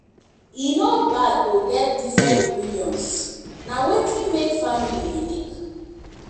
e no bad to get different opinions; na wetin make family unique.